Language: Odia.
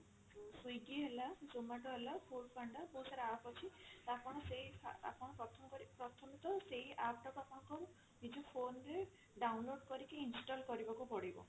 swiggy ହେଲା zomato ହେଲା ବହୁତ ସାରା app ଅଛି ତ ଆପଣ ସେଇ ଆପଣ ପ୍ରଥମ କରି ପ୍ରଥମତଃ ସେଇ app ଟାକୁ ଆପଣ ନିଜ phone ରେ download କରିକି install କରିବାକୁ ପଡିବ